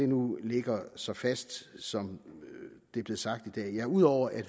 nu ligger så fast som det er blevet sagt i dag ja ud over at